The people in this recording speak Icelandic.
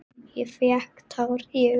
Ég fékk tár í augun.